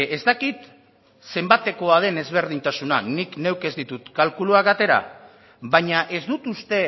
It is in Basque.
ez dakit zenbatekoa den ezberdintasuna nik neuk ez ditut kalkuluak atera baina ez dut uste